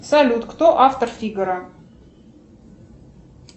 салют кто автор фигаро